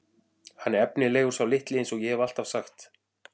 Hann er efnilegur sá litli eins og ég hef alltaf sagt.